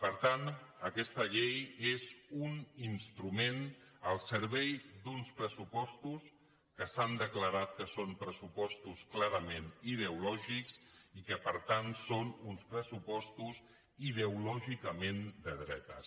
per tant aquesta llei és un instrument al servei d’uns pressupostos que s’han declarat que són pressupostos clarament ideològics i que per tant són uns pressupostos ideològicament de dretes